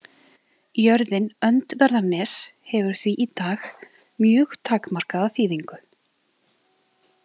Jörðin „Öndverðarnes“ hefur því í dag mjög takmarkaða þýðingu.